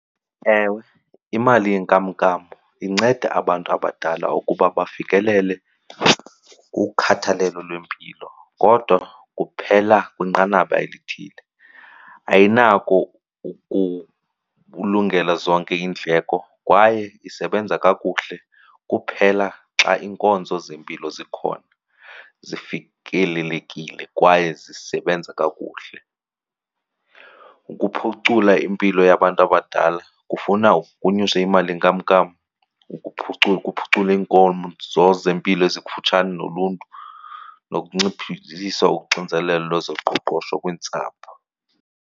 Ewe, imali yenkamnkam inceda abantu abadala ukuba bafikelele kukhathalelo lwempilo kodwa kuphela kwinqanaba elithile. Ayinako ukulungela zonke iindleko kwaye isebenza kakuhle kuphela xa iinkonzo zempilo zikhona, zifikelelekile kwaye zisebenza kakuhle. Ukuphucula impilo yabantu abadala kufuna kunyuswe imali yenkamnkam, kuphuculwe zempilo ezikufutshane noluntu nokunciphisa uxinzelelo lwezoqoqosho kwiintsapho.